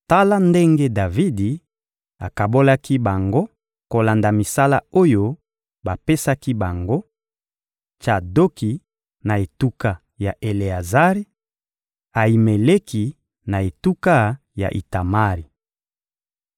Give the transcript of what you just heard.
Tala ndenge Davidi akabolaki bango kolanda misala oyo bapesaki bango: Tsadoki, na etuka ya Eleazari; Ayimeleki, na etuka ya Itamari.